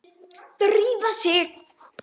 Drífa sig